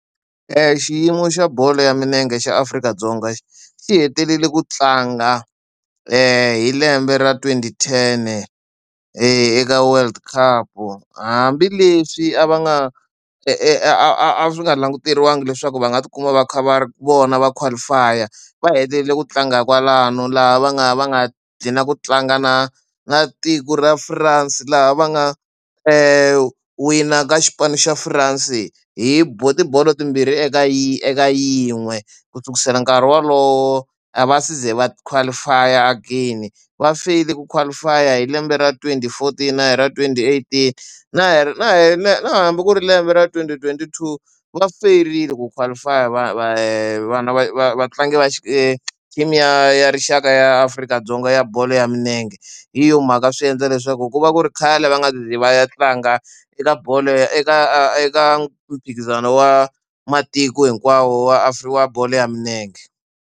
Xiyimo xa bolo ya milenge xa Afrika-Dzonga xi hetelele ku tlanga hi lembe ra twenty ten-e eka world cup-u. Hambileswi a va nga a swi nga languteriwangiki leswaku va nga tikuma va kha va ri vona va qualify-a, va hetelele ku tlanga kwalano laha va nga va nga dhlina ku tlanga na na tiko ra France. Laha va nga wina ka xipano xa France hi tibolo timbirhi eka eka yin'we ku kusela nkarhi wolowo a va ze va qualify-a again. Va feyile ku qualify-a hi lembe ra twenty fourteen na hi ra twenty eighteen na na hambi ku ri lembe ra twenty twenty two va fanerile ku qualify-a vana vatlangi va team ya rixaka ya Afrika-Dzonga ya bolo ya milenge. Hi yo mhaka swi endla leswaku ku va ku ri khale va nga ze va ya tlanga eka bolo ya eka eka mphikizano wa matiko hinkwawo wa bolo ya milenge.